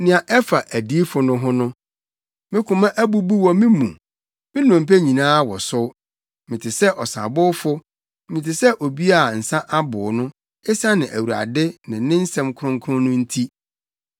Nea ɛfa adiyifo no ho no: Me koma abubu wɔ me mu; me nnompe nyinaa wosow. Mete sɛ ɔsabowfo, mete sɛ obi a nsa abow no, esiane Awurade ne ne nsɛm kronkron no nti.